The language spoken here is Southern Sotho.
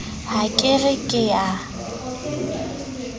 ha ke re ke a